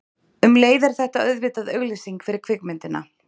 Um leið er þetta auðvitað auglýsing fyrir kvikmyndina.